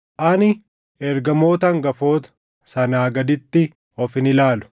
Ani, “Ergamoota hangafoota” sanaa gaditti of hin ilaalu.